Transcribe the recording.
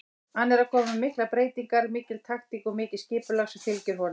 Hann er að koma með miklar breytingar, mikil taktík og mikið skipulag sem fylgir honum.